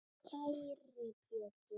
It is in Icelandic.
Kæri Pétur.